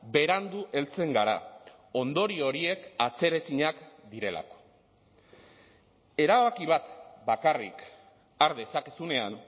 berandu heltzen gara ondorio horiek atzeraezinak direlako erabaki bat bakarrik har dezakezunean